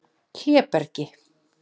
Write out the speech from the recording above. Hlébergi